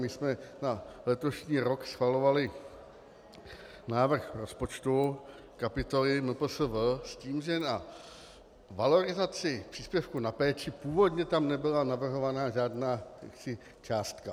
My jsme na letošní rok schvalovali návrh rozpočtu, kapitoly MPSV, s tím, že na valorizaci příspěvku na péči původně tam nebyla navrhována žádná částka.